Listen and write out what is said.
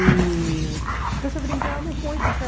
E... Então, brincávamos muito, sabe?